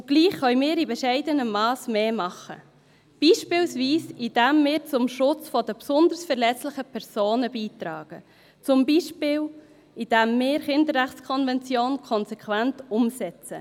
Und doch können wir in bescheidenem Masse mehr tun, beispielsweise indem wir zum Schutz der besonders verletzlichen Personen beitragen, zum Beispiel indem wir die Kinderrechtskonvention konsequent umsetzen.